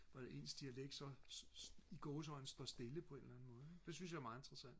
hvordan ens dialekt så i gåseøjne står stille på en eller anden måde ikke det synes jeg er meget interessant